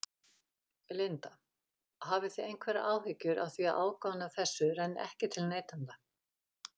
Linda: Hafið þið einhverjar áhyggjur af því að ágóðinn af þessu renni ekki til neytenda?